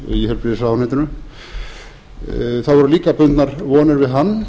í heilbrigðisráðuneytinu það voru líka bundnar vonir við hann